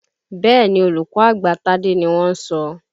Bẹ́ẹ̀ni, olùkọ́ àgbà Tádé ni wọ́n ń sọ.